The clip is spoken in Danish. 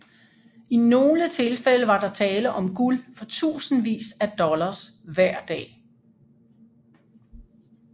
I nogle tilfælde var der tale om guld for tusindvis af dollars hver dag